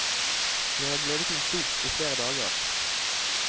Jeg har gledet meg stort i flere dager.